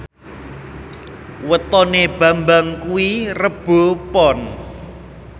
wetone Bambang kuwi Rebo Pon